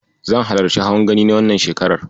Zan halarci hawan Gani na wannan shekarar.